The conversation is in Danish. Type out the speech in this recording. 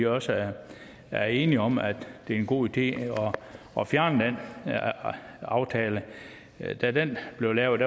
også er er enige om at det er en god idé at fjerne den aftale da den blev lavet